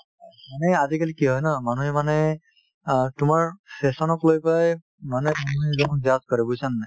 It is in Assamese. মানে আজিকালি কি হয় ন মানুহে মানে অ তোমাৰ fashion ক লৈ পেলাই মানুহে মানুহ এজনক judge কৰে বুজিছানে নাই